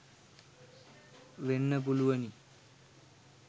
වෙන්න පුළුවනි.